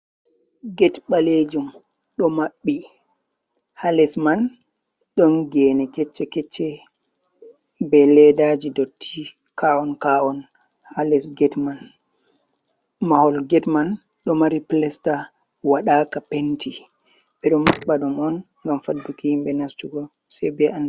Get ɓalejum ɗo maɓɓi, ha les man ɗon gene kecce-kecce be leddaji dotti, ka’on ka’on halesgate man mahol gate man ɗo mari pilesta waɗaka penti, ɓe ɗo matbadum on gam faduki himbe nastugo.